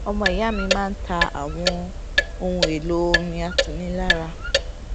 omo iya mi máa ń ta àwọn ohun èlò ọrin atunilára